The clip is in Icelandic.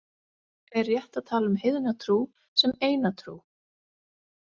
Er rétt að tala um heiðna trú sem eina trú?